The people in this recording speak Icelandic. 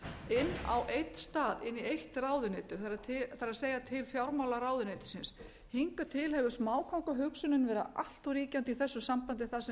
inn á einn stað inn í eitt ráðuneyti það er til fjármálaráðuneytisins hingað til hefur smákóngahugsunin verið allt of ríkjandi í þessu sambandi þar sem við höfum